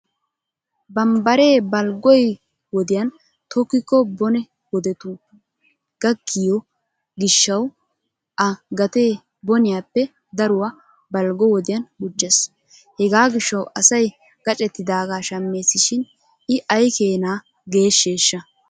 Bambbaree balggoy wodiyan tokkikko bone wodetun gakkiyo gishshawu a gatee boniyappe daruwa balggo wodiyan gujjes. Hegaa gishshawu asay gaccettidagaa shammeesi shin I ayikeena geeshsheeshsha?